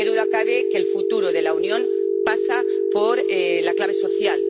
Qué duda cabe de que el futuro de la Unión pasa por la clave social.